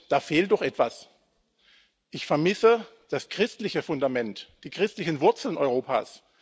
Da fehlt doch etwas Ich vermisse das christliche Fundament, die christlichen Wurzeln Europas.